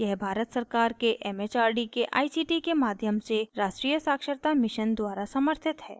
यह भारत सरकार के it it आर डी के आई सी टी के माध्यम से राष्ट्रीय साक्षरता mission द्वारा समर्थित है